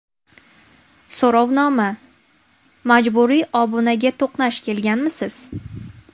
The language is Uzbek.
So‘rovnoma: Majburiy obunaga to‘qnash kelganmisiz?.